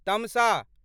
तमसँ